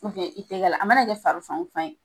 ubiyɛn i tɛgɛ la a mana kɛ fari fan o fan ye